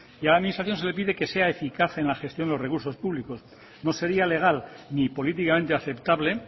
y a la administración se le pide que sea eficaz en la gestión de los recursos públicos no sería legal ni políticamente aceptable